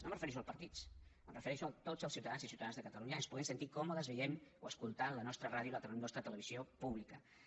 no em refereixo als partits em refereixo que tots els ciutadans i ciutadanes de catalunya ens puguem sentir còmodes veient o escoltant la nostra ràdio i la nostra televisió públiques